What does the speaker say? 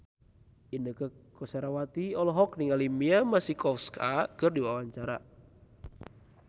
Inneke Koesherawati olohok ningali Mia Masikowska keur diwawancara